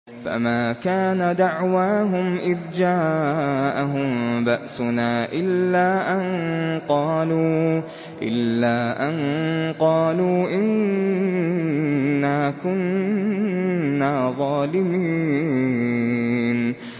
فَمَا كَانَ دَعْوَاهُمْ إِذْ جَاءَهُم بَأْسُنَا إِلَّا أَن قَالُوا إِنَّا كُنَّا ظَالِمِينَ